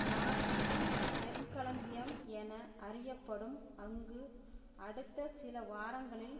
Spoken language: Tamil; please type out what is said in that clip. நாட்டின் நெற்களஞ்சியம் என அறியப்படும் அங்கு அடுத்த சில வாரங்களில்